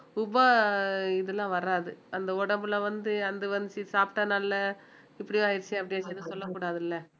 உப~ இதுலாம் வராது அந்த உடம்புல வந்து அந்த சாப்பிட்டா நல்லா இப்படி ஆயிருச்சுன்னு அப்படி ஆயிருச்சுன்னு சொல்லக்கூடாதுல